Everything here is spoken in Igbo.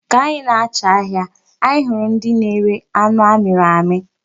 Ka anyị na-acha ahịa, anyị hụrụ ndị na-ere anu amịrị amị.